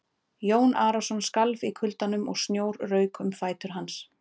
Jón Arason skalf í kuldanum og snjór rauk um fætur hans.